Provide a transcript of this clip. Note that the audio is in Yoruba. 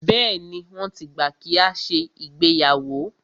Bẹ́ẹ̀ni, wọ́n ti gbà kí a ṣe ìgbéyàwó.